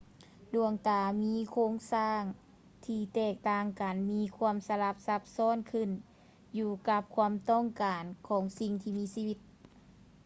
ດວງຕາມີໂຄງສ້າງທີ່ແຕກຕ່າງກັນ ມີຄວາມສະລັບຊັບຊ້ອນຂຶ້ນຢູ່ກັບຄວາມຕ້ອງການຂອງສິ່ງທີ່ມີຊີວິດ